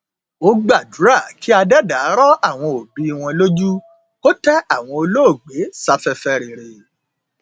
ó gbàdúrà kí adẹdá rọ àwọn òbí wọn lójú kó tẹ àwọn olóògbé sáfẹfẹ rere